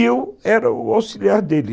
E eu era o auxiliar dele.